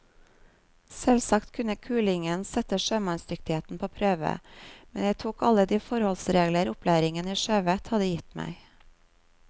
Selvsagt kunne kulingen sette sjømannsdyktigheten på prøve, men jeg tok alle de forholdsregler opplæringen i sjøvett hadde gitt meg.